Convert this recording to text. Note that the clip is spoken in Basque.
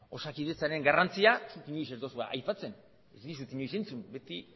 osakidetzaren garrantzia inoiz ez duzue aipatzen ez dizut inoiz entzun beti